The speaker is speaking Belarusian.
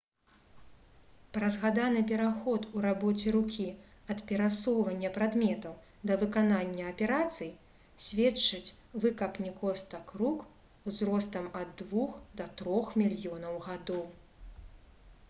пра згаданы пераход у рабоце рукі ад перасоўвання прадметаў да выканання аперацый сведчаць выкапні костак рук узростам ад двух да трох мільёнаў гадоў